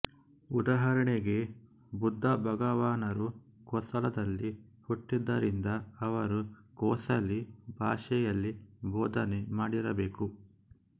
ಉದಾಹರಣೆಗೆ ಬುದ್ಧ ಭಗವಾನರು ಕೋಸಲದಲ್ಲಿ ಹುಟ್ಟಿದ್ದರಿಂದ ಅವರು ಕೋಸಲೀ ಭಾಷೆಯಲ್ಲಿ ಬೋಧನೆ ಮಾಡಿರಬೇಕು